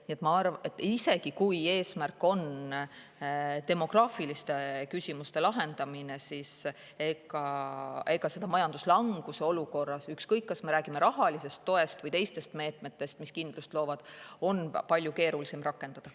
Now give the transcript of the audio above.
Nii et isegi kui eesmärk on demograafiliste küsimuste lahendamine, siis majanduslanguse olukorras on seda kõike, ükskõik, kas me räägime rahalisest toest või teistest meetmetest, mis kindlust loovad, palju keerulisem rakendada.